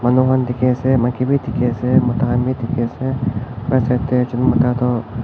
Manu khan dekhe ase maiki bhi dekhe ase mota khan bhi dekhe ase right side dae ekjun mota toh--